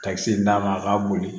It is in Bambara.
Ka kisɛ d'a ma a ka boli